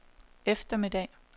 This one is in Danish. eftermiddag